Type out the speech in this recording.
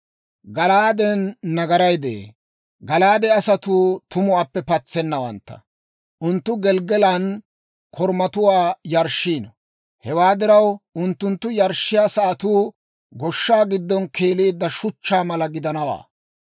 Gala'aaden nagaray de'ee; Gala'aade asatuu tumuwaappe patsennawantta. Unttunttu Gelggalan korumatuwaa yarshshiino. Hewaa diraw, unttunttu yarshshiyaa sa'atuu goshsha giddon keeleedda shuchchaa mala gidanawaa.